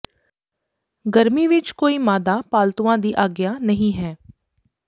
ਗਰਮੀ ਵਿਚ ਕੋਈ ਮਾਦਾ ਪਾਲਤੂਆਂ ਦੀ ਆਗਿਆ ਨਹੀਂ ਹੈ